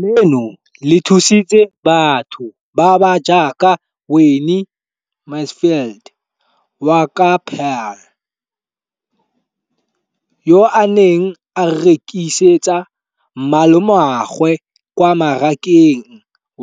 Leno le thusitse batho ba ba jaaka Wayne Mansfield, 33, wa kwa Paarl, yo a neng a rekisetsa malomagwe kwa Marakeng